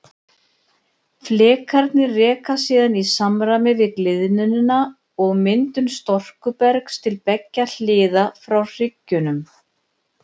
Flekarnir reka síðan í samræmi við gliðnunina og myndun storkubergs til beggja hliða frá hryggjunum.